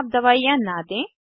अपने आप दवाइयाँ न दें